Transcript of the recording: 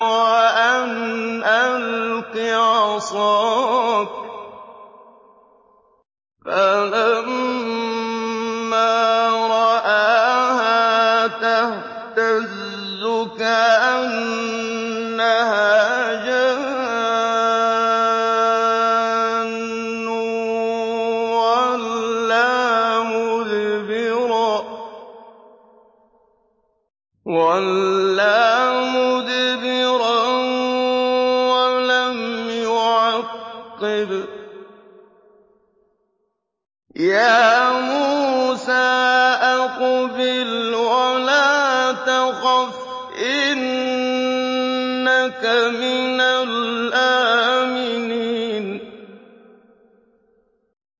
وَأَنْ أَلْقِ عَصَاكَ ۖ فَلَمَّا رَآهَا تَهْتَزُّ كَأَنَّهَا جَانٌّ وَلَّىٰ مُدْبِرًا وَلَمْ يُعَقِّبْ ۚ يَا مُوسَىٰ أَقْبِلْ وَلَا تَخَفْ ۖ إِنَّكَ مِنَ الْآمِنِينَ